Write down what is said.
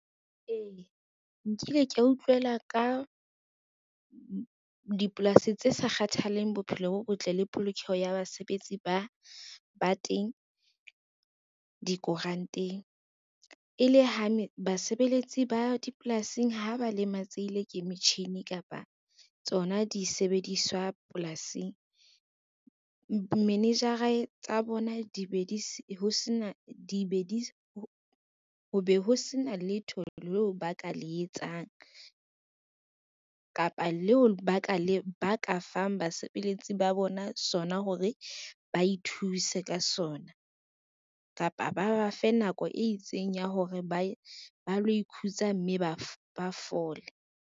Ee, nkile ka utlwela ka dipolasi tse sa kgathalleng bophelo bo botle le polokeho ya basebetsi ba teng dikuranteng. E le ha ne basebeletsi ba dipolasing ha ba lematsehile ke metjhini kapa tsona di sebediswa polasing, manager-a tsa bona ho be ho sena letho leo ba ka le etsang, kapa leo ba ka fang basebeletsi ba bona sona hore ba ithuse ka sona kapa ba ba fe nako e itseng ya hore ba lo ikhutsa mme ba fole.